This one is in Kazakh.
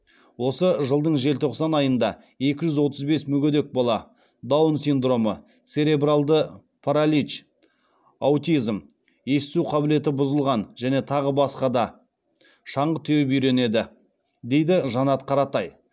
осы жылдың желтоқсан айында екі жүз отыз бес мүгедек бала шаңғы теуіп үйренеді дейді жанат қаратай